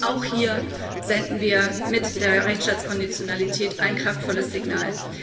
Auch hier senden wir mit der Rechtstaatskonditionalität ein kraftvolles Signal.